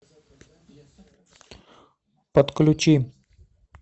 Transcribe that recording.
подключи